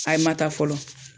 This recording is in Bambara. Ayi ma taa fɔlɔ.